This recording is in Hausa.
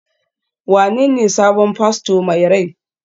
wanene sabon fasto mai rai?